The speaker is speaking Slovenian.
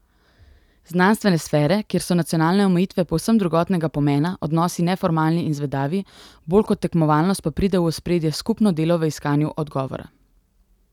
Znanstvene sfere, kjer so nacionalne omejitve povsem drugotnega pomena, odnosi neformalni in zvedavi, bolj kot tekmovalnost pa pride v ospredje skupno delo v iskanju odgovora.